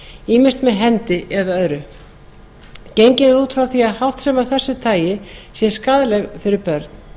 ýmist með hendi eða öðru gengið er út frá því að öll háttsemi af þessu tagi sé skaðleg fyrir börn